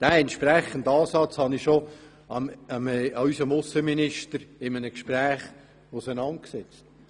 Diesen Ansatz habe ich bereits unserem Aussenminister in einem Gespräch auseinandergesetzt.